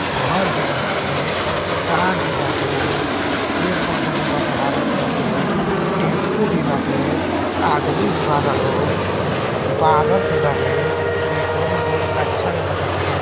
घर भी बाटे तार भी बाटे पेड़ पौधा भी बाटे हरा कलर के टेम्पो भी बाटे आदमी भी बाना लोग बादल भी बाटे। देखने में बहोत अच्छा लागटाते।